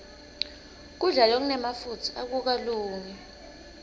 kudla lokunemafutsa akukalungi